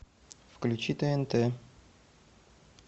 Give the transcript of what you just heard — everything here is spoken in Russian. включи тнт